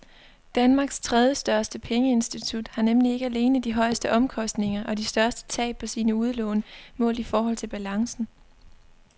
Danmarks tredjestørste pengeinstitut har nemlig ikke alene de højeste omkostninger og de største tab på sine udlån målt i forhold til balancen.